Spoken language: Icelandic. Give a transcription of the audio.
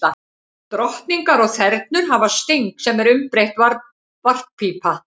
Drottningar og þernur hafa sting, sem er umbreytt varppípa.